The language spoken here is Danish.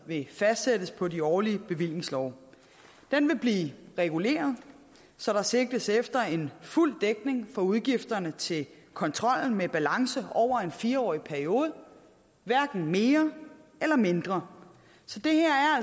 vil fastsættes på de årlige bevillingslove den vil blive reguleret så der sigtes efter en fuld dækning for udgifterne til kontrollen med balance over en fire årig periode hverken mere eller mindre